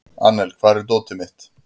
Annel, hvar er dótið mitt?